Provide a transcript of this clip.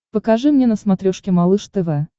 покажи мне на смотрешке малыш тв